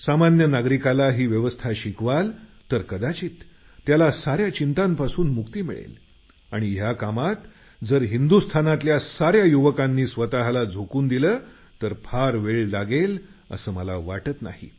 सामान्य नागरिकांना ही व्यवस्था शिकवाल तर कदाचित त्याला कार्य चिंतपासून मुक्ती मिळेल आणि या कामात हिंदुस्थानातल्या साऱ्या युवकांनी स्वतला झोकवून दिलं तर फार वेळ लागणार नाही असं मला वाटतं